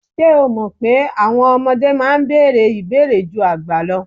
Ṣé o mọ̀ pé àwọn ọmọdé máa ń bèèrè ìbéèrè ju àgbà lọ?